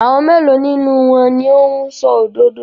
Àwọn mélòó nínú wọn ni ó ń sọ òdodo?